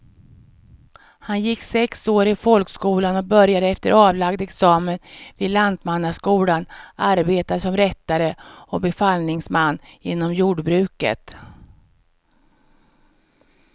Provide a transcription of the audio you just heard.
Han gick sex år i folkskolan och började efter avlagd examen vid lantmannaskolan arbeta som rättare och befallningsman inom jordbruket.